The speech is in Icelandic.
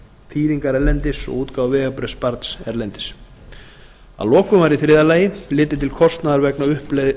þýðingar erlendis og útgáfu vegabréfs barns erlendis að lokum var í þriðja lagi litið til kostnaðar vegna